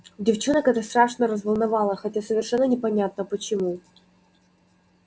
девчонок это страшно разволновало хотя совершенно непонятно почему